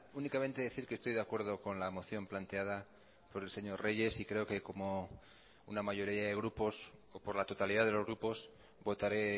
únicamente decir que estoy de acuerdo con la moción planteada por el señor reyes y creo que como una mayoría de grupos o por la totalidad de los grupos votaré